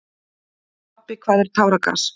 Pabbi, hvað er táragas?